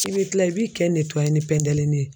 I bɛ tila i b'i kɛ ni pɛndelinin ye